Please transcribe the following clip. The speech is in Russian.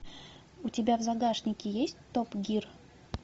у тебя в загашнике есть топ гир